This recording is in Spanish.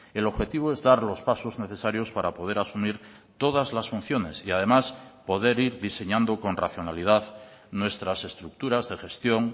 el objetivo es dar los pasos necesarios para poder asumir todas las funciones y además poder ir diseñando con racionalidad nuestras estructuras de gestión